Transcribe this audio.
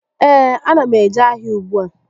Ee, a na m eje ahịa ùgbúà